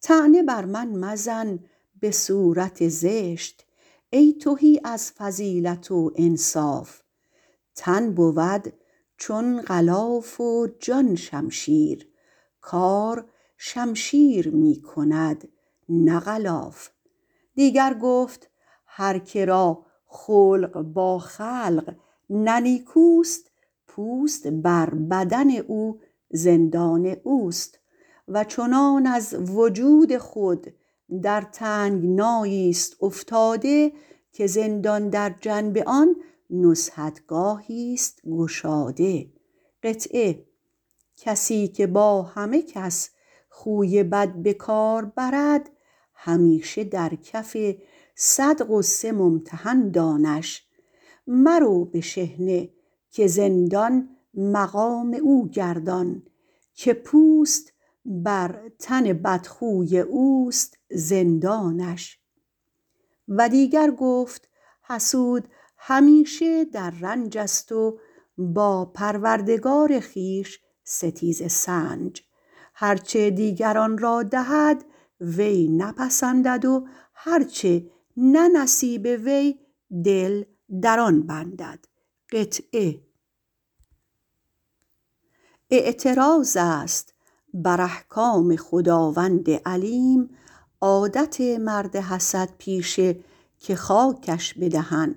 طعنه بر من مزن به صورت زشت ای تهی از فضیلت و انصاف تن بود چون غلاف و جان شمشیر کار شمشیر می کند نه غلاف دیگر گفت هر که را خلق با خلق نه نیکوست پوست بر بدن زندان اوست چنان از وجود خود در تنگنایی است افتاده که زندان در جنب آن بزمگاهی است گشاده کسی که با همه کس خوی بد به کار برد همیشه در کف صد غصه ممتحن دانش مرو به شحنه که زندان مقام او گردان که پوست بر تن بدخو بس است زندانش و دیگر گفت حسود همیشه در رنج است و با پروردگار خویش ستیزه سنج هر چه دیگران را دهد وی نپسندد و هر چه نه نصیب وی دل در آن بندد اعتراض است بر احکام جهاندار حکیم عادت مرد حسد پیشه که خاکش به دهن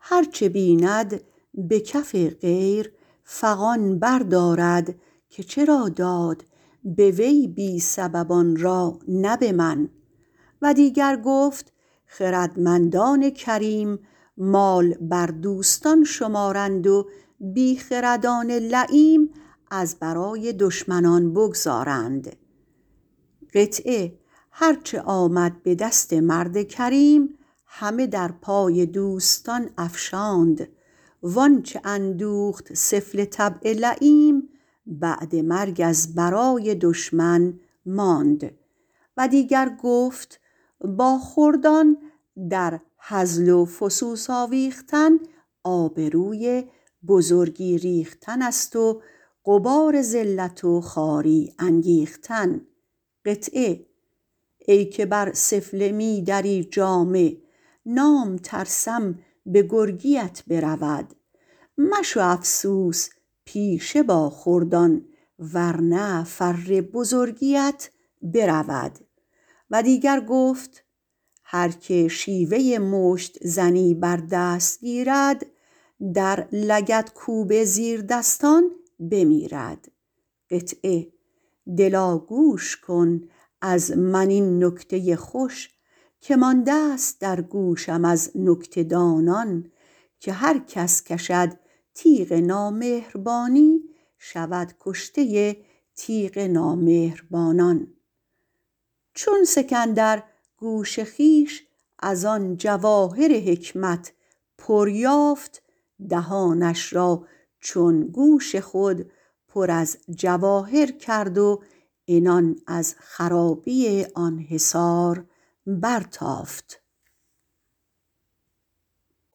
هر چه بیند به کف غیر فغان بردارد که چرا داد به وی بی سبب آن را نه به من دیگر گفت خردمندان کریم مال بر دوستان شمارند و بی خردان لییم از برای دشمنان بگذارند هرچه آمد به دست مرد کریم همه در پای دوستان افشاند وانچه اندوخت سفله طبع لییم بعد مرگ از برای دشمن ماند دیگر گفت با خردان در هزل و فسوس آویختن آبروی بزرگی ریختن است و غبار ذلت و خواری انگیختن ای که بر سفله می دری جامه نام ترسم به گرگیت برود مشو افسوس پیشه با خردان ور نه فر بزرگیت برود دیگر گفت هر که با زیردستان شیوه مشت زنی بر دست گیرد در لگدکوب زبردستان بمیرد دلا گوش کن از من این نکته خوش که مانده ست در گوشم از نکته دانان که هرکس کشد تیغ نامهربانی شود کشته تیغ نامهربانان چون اسکندر گوش خویش از آن جواهر حکمت پر یافت دهانش را چون گوش خود پر جواهر کرد و عنان از خرابی آن حصار برتافت